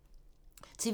TV 2